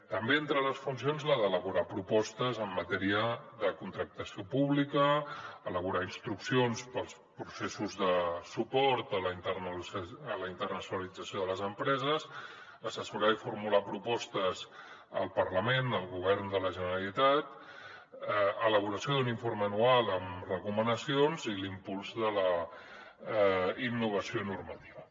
també entre les funcions la d’elaborar propostes en matèria de contractació pública elaborar instruccions per als processos de suport a la internacionalització de les empreses assessorar i formular propostes al parlament al govern de la generalitat elaboració d’un informe anual amb recomanacions i l’impuls de la innovació normativa